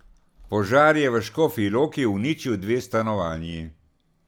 Požar je v Škofji Loki uničil dve stanovanji.